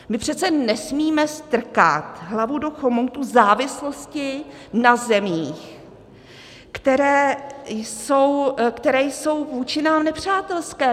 My přece nesmíme strkat hlavu do chomoutu závislosti na zemích, které jsou vůči nám nepřátelské.